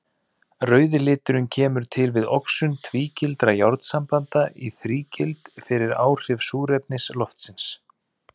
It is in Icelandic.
Rauði liturinn kemur til við oxun tvígildra járnsambanda í þrígild fyrir áhrif súrefnis loftsins.